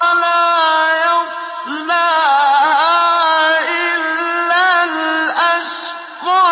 لَا يَصْلَاهَا إِلَّا الْأَشْقَى